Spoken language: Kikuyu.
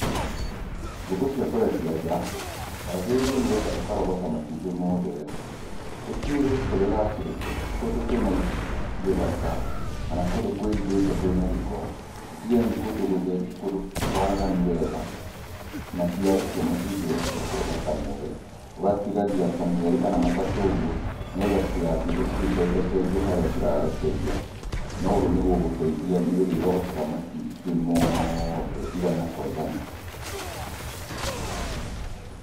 Ngũkũ cia kũrekia nja wagĩrĩirwo nĩgetha ũkarogota matumbĩ mothe rĩ, ũtigĩrĩre kũrĩa ũracirekia ti kũndũ kwĩ na gĩthaka kana kũndũ kwĩhithĩte kwĩ na gĩko, ũtigĩrĩre nĩ kũndũ gũtheru kũndũ kwaraganu wega. Na ciarekia matumbĩ ũgatiga kũrogota mothe, ũgatigagia ta merĩ kana matatũ ũguo nĩgetha citigatinde cigĩcenjacenjia harĩ cirarekeria, na ũguo nĩgũgũteithia nĩ ũrĩrogotaga matumbĩ mothe igana kwa igana.